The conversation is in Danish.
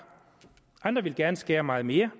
andre ville gerne skære meget mere